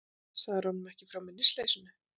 Sagðirðu honum ekki frá minnisleysinu?